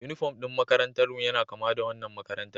Unifom ɗin makarantarmu yana kama da wannan makarantar